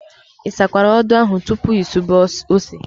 Ị sakwara odo ahụ tupu ị sube ose?